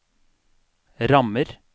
rammer